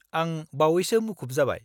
-आं बावैसो मुखुब जाबाय।